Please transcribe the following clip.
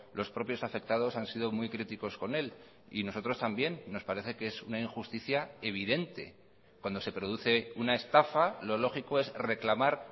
los propios afectados han sido muy críticos con él y nosotros también nos parece que es una injusticia evidente cuando se produce una estafa lo lógico es reclamar